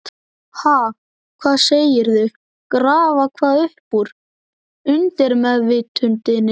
Ha, hvað segirðu, grafa hvað upp úr undirmeðvitundinni?